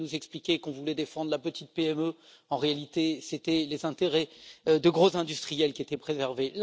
On venait nous expliquer qu'on voulait défendre la petite PME, mais en réalité, c'était les intérêts de gros industriels qui étaient préservés.